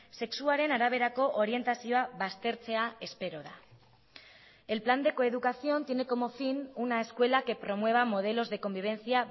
sexuaren araberako orientazioa baztertzea espero da el plan de coeducación tiene como fin una escuela que promueva modelos de convivencia